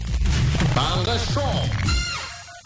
таңғы шоу